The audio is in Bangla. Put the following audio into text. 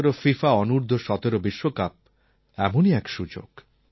২০১৭ ফিফা অনূর্দ্ধ১৭ বিশ্বকাপ এমনই এক সুযোগ